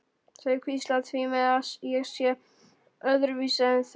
Þau hvísla því með að ég sé öðruvísi en þau.